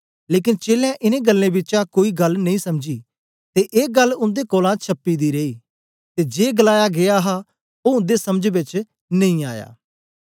लेकन चेलें इनें गल्लें बिचा कोई गल्ल नेई समझी ते ए गल्ल उन्दे कोलां छपी दी रेई ते जे गलाया गीया हा ओ उन्दे समझ बेच नेई आया